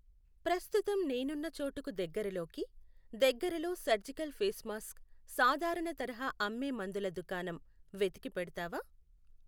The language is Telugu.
ప్రస్తుతం నేనున్న చోటుకు దగ్గరలోకి దగ్గరలో సర్జికల్ ఫేస్ మాస్క్ సాధారణ తరహా అమ్మే మందుల దుకాణం వెతికి పెడతావా?